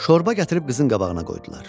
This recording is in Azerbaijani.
Şorba gətirib qızın qabağına qoydular.